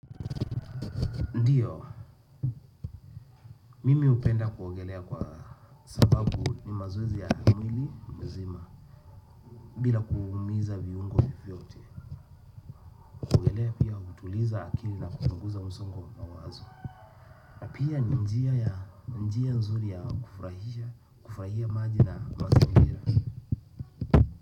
Ndiyo, mimi hupenda kuogelea kwa sababu ni mazoezi ya mwilimzima. Bila kuumiza viungo vyovyote kuogelea pia hutuliza akili na kupunguza msongo wa mawazo pia ni njia ya njia nzuri ya kufurahisha, kufurahia maji na mazingira.